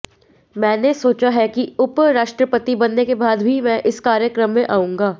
मैंने सोचा है कि उप राष्ट्रपति बनने के बाद भी मैं इस कार्यक्रम में आउंगा